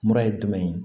Mura ye jumɛn ye